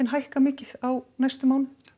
hækka mikið á næstu mánuðum